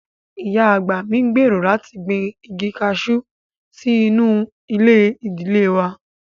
Ìyá àgbà mi ń gbèrò láti gbin igi kaṣú sí inú ilé ìdílé wà